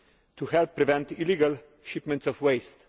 to help prevent illegal shipments of waste.